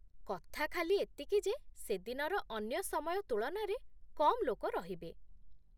କଥା ଖାଲି ଏତିକି ଯେ ସେଦିନର ଅନ୍ୟ ସମୟ ତୁଳନାରେ କମ୍ ଲୋକ ରହିବେ ।